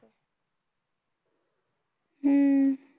हम्म